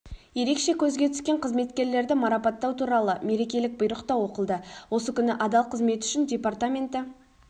ерекше көзге түскен қызметкерлерді марапаттау туралы мерекелік бұйрық та оқылды осы күні адал қызметі үшін департаменті